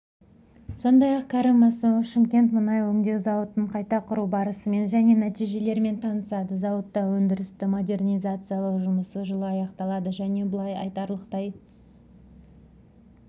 сондай-ақ кәрім мәсімов шымкент мұнай өңдеу зауытын қайта құру барысымен және нәтижелерімен танысады зауытта өндірісті модернизациялау жұмысы жылы аяқталады және бұлайтарлықтай